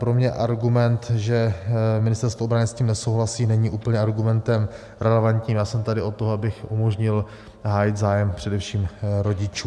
Pro mě argument, že Ministerstvo obrany s tím nesouhlasí, není úplně argumentem relevantním, já jsem tady od toho, abych umožnil hájit zájem především rodičů.